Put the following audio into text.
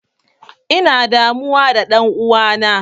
Ina damuwa da ɗan'uwana.